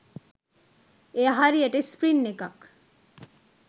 එය හරියට ස්ප්‍රින් එකක්